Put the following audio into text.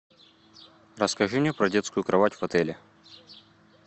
расскажи мне про детскую кровать в отеле